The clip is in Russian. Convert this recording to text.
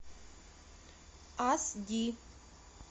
ас ди